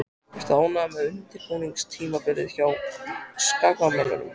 Ertu ánægður með undirbúningstímabilið hjá Skagamönnum?